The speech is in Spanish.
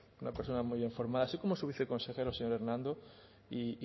una persona muy bien formada así como su viceconsejero señor hernando y